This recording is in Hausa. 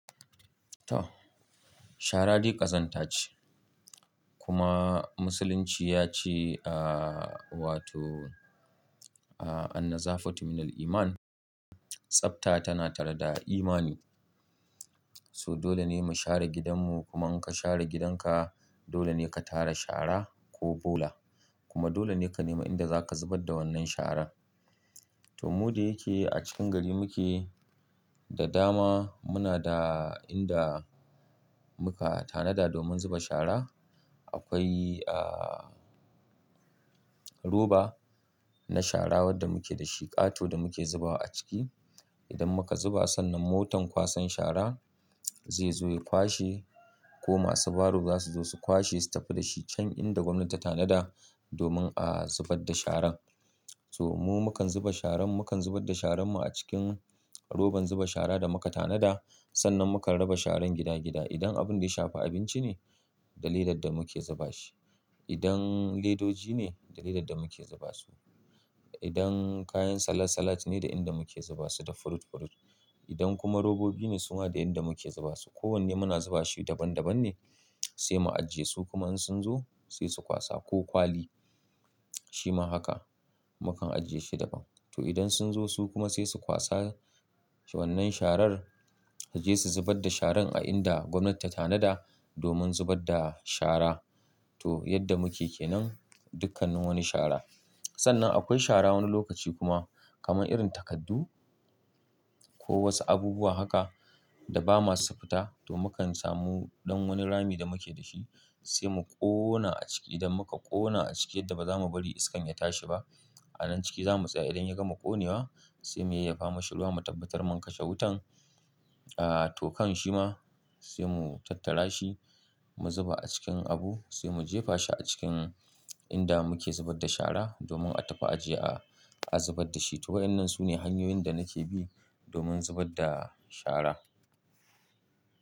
To, shara dai ƙazanta ce kuma Musulunci ya ce, aaa, wato, aaa, anna zafa tu minal iman, tsafta tana tare da imani. So dole ne mu share gidanmu kuma in ka share gidanka dole ne ka tara shara ko bola. Kuma dole ne ka nema inda za ka zubar da wannan sharar. To, mu da yake a cikin gari muke da dama muna da inda muka tanada domin zuba shara. Akwai, aaa, roba na shara wadda muke da shi ƙato da muke zubawa a ciki. Idan muka zuba sannan motan kwasan shara zai zo ya kwashe ko masu baro za su zo su kwashe su tafi da shi can inda gwamnati ta tanada domin a zubar da sharan. To, mu mukan zuba sharan, mukan zubar da sharanmu a cikin roban zuba shara da muka tanada sannan mukan raba sharan gida gida. Idan abin da ya shafa abinci ne, da ledar da muke zuba shi. Idan ledoji ne, da ledar da muke zuba su. Idan kayan salak salak ne da inda muke zuba su da furut furut. Idan kuma robobi ne su ma da inda muke zuba su. Ko wanne muna zuba shi daban daban ne sai mu ajiye su kuma in sun zo sai su kwasa ko kwali shi ma haka mukan ajiye shi daban. To, idan sun zo su kuma sai su kwasa wannan sharar su je su zubar da sharar a inda gwamnati ta tanada domin zubar da shara. To, yadda muke ke nan dukkanin wani shara. Sannan akwai shara wani lokaci kuma kamar irin takaddun ko wasu abubuwa haka da ba maso su fita to mukan samu ɗan wani rami da muke da shi sai mu ƙona a ciki idan muka ƙona a ciki yadda ba za mu bari iskan ya tashi ba. A nan ciki za mu tsaya idan ya gama ƙonewa sai mu yayyafa mashi ruwa mu tabbatar mun kashe wutan. Aaa, to kan shi ma sai mu tattara shi mu zuba a cikin abu sai mu jefa shi a cikin inda muke zubar da shara domin a tafi a je a zubar da shi. To, wa'annan su ne hanyoyin da nake bi domin zubar da shara.